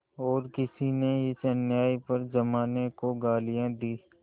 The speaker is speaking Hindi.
और किसी ने इस अन्याय पर जमाने को गालियाँ दीं